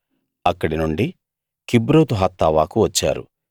అక్కడి నుండి కిబ్రోతు హత్తావాకు వచ్చారు